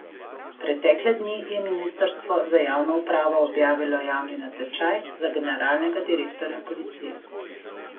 Pretekle dni je ministrstvo za javno upravo objavilo javni natečaj za generalnega direktorja policije.